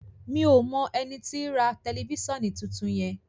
mi'o mọ ẹní tí rà Tẹlifísàn títún yen